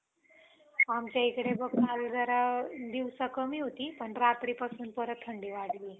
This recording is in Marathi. आमच्या इकडे बघ काल जरा दिवसा कमी होती. पण रात्रीपासून परत थंडी वाढलीये.